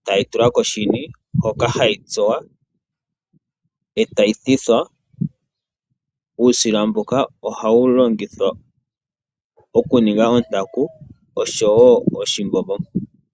eta yi tulwa koshini hoka hayi tsuwa etayi thithwa. Uusila ohawu longithwa okudhunga ontaku osho wo oku teleka oshimbombo.